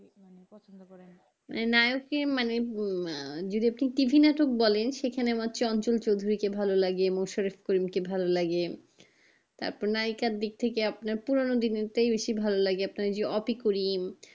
নায়ককে মানে উম আহ বলেন সেখানে কাঞ্চন ফেবরি কে ভালো লাগে নুসরাত কে ভালো লাগে তারপর নায়িকার দিক থেকে আপনার পুরোনো যুগের তাই বেশি ভালো লাগে অপিকরিম